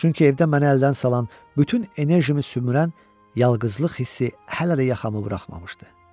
Çünki evdə məni əldən salan bütün enerjimi sümürən yalqızlıq hissi hələ də yaxamı buraxmamışdı.